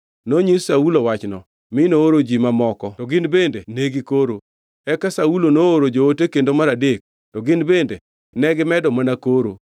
Nonyis Saulo wachno, mi nooro ji moko to gin bende ne gikoro. Eka Saulo nooro joote kendo mar adek, to gin bende negimedo mana koro.